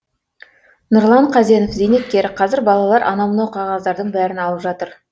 нұрлан қазенов зейнеткер қазір балалар анау мынау қағаздардың бәрін алып жатыр